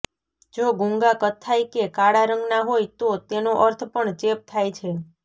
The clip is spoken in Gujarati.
જો ગૂંગા કથ્થાઈ કે કાળા રંગના હોય તો તેનો અર્થ પણ ચેપ થાય છે